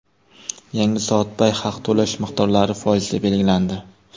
Yangi soatbay haq to‘lash miqdorlari foizda belgilandi.